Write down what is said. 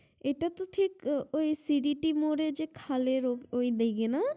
এটা তো ঠিক ওই মোড়ে যে খালের ওই দিকে না?